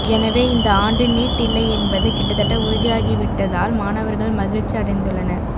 எனவே இந்த ஆண்டு நீட் இல்லை என்பது கிட்டத்தட்ட உறுதியாகிவிட்டதால் மாணவர்கள் மகிழ்ச்சி அடைந்துள்ளனர்